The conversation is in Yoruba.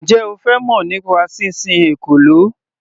Njẹ́ O fẹ́ mọ̀ nípa sísin ekòló.